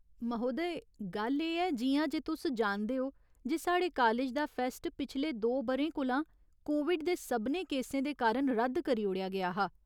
महोदय, गल्ल एह् ऐ, जि'यां जे तुस जानदे ओ जे साढ़े कालेज दा फैस्ट पिछले दो ब'रें कोला कोविड दे सभनें केसें दे कारण रद्द करी ओड़ेआ गेआ हा।